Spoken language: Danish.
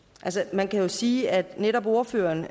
man kan jo sige at netop ordføreren